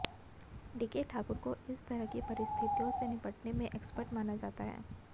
DK Thakur को इस तरह की परिस्थितियों से निपटने में एक्सपर्ट माना जाता है